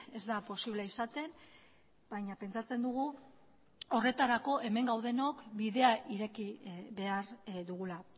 ez da posible izaten baina pentsatzen dugu horretarako hemen gaudenok bidea ireki behar dugula